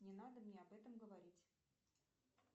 не надо мне об этом говорить